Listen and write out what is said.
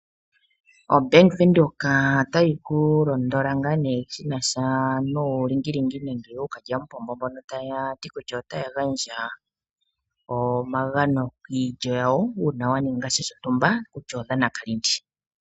OBank Windhoek otayi kulondola ngaa nee shinasha nuulingilingi nande ookalya mupombo mbono taati kutya otaagandja omagano kiilyo yawo uuna waninga sha shontumba kutya ndhono odhanakalindi.